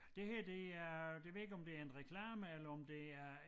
Det her det er det ved jeg ikke om det en reklame eller om det er en